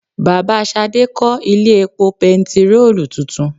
Bàbá Ṣadé kó ilé epo bẹntiróòlù tuntun.